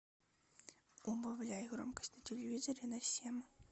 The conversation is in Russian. убавляй громкость на телевизоре на семь